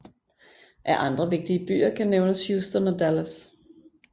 Af andre vigtige byer kan nævnes Houston og Dallas